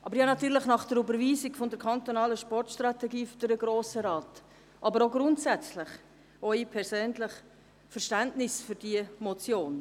Aber natürlich habe ich nach der Überweisung der kantonalen Sportstrategie durch den Grossen Rat, aber auch grundsätzlich, auch persönlich, Verständnis für diese Motion.